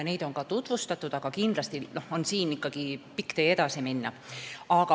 Neid on ka tutvustatud, aga kindlasti on siin veel pikk tee minna.